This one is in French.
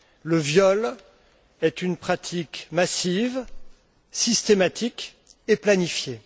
Le viol est une pratique massive, systématique et planifiée.